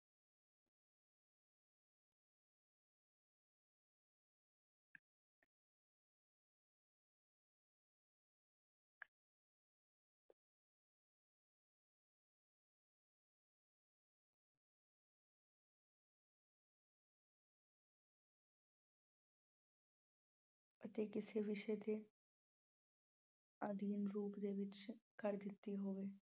ਅਤੇ ਕਿਸੇ ਵਿਸ਼ੇ ਤੇ ਆਧੀਨ ਰੂਪ ਦੇ ਵਿੱਚ ਕਰ ਦਿੱਤੀ ਹੋਵੇ।